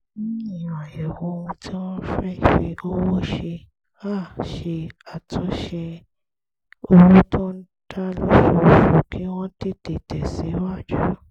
lẹ́yìn àyẹ̀wò ohun tí wọ́n fẹ́ fi owó ṣe her ṣe àtúnṣe owó tó ń dá lóṣooṣù kí wọ́n tètè tẹ̀síwájú